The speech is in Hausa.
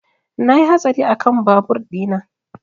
Na yi hatsari kan babur ina